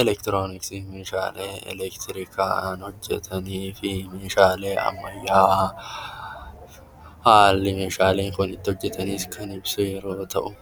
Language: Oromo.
Eleektirooniksiin meeshaalee eleektirijlkaan hojjetanii fi meeshaalee ammayyaa haalli meeshaaleen kunniin itti hojjetamanis kan ibsu yommuu ta'u,